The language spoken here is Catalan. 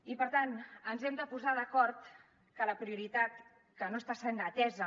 i per tant ens hem de posar d’acord que la prioritat que no està sent atesa